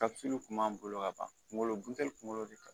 kun b'an bolo ka ban kungolo guntɛli kunkolo de ka